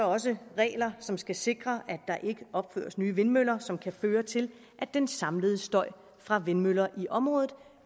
også regler som skal sikre at der ikke opføres nye vindmøller som kan føre til at den samlede støj fra vindmøller i området